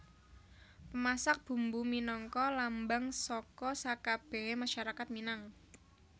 Pemasak Bumbu minangka lambang saka sakabèhé masyarakat Minang